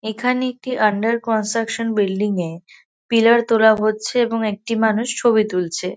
এখানে একটি under construction building এ পিলার তোলা হচ্ছে এবং একটি মানুষ ছবি তুলছে।